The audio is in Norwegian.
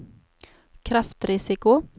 kreftrisiko